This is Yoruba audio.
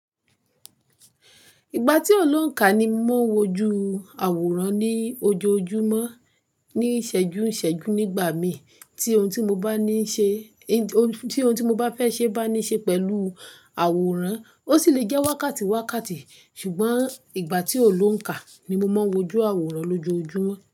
Ìgbà tí ò ní ońkà ni mo ń wojú àwòrán ní ojoojúmọ́, ní ìsẹ́jú ìsẹ́jú nígbà mi tí ohun tí mo bá ní tí ohun tí mo bá fẹ́ ní ṣe pẹ̀lú àwòrán ósì lè jẹ́ wákàtí wákàtí ṣùgbọ́n ìgbà tí ó ní ońkà ni mo má ń wo ojú àwòrán loojojúmọ́.